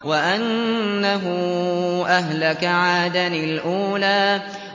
وَأَنَّهُ أَهْلَكَ عَادًا الْأُولَىٰ